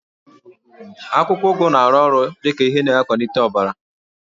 Akwụkwọ ụgụ na-arụ ọrụ dị ka ihe na-akwalite ọbara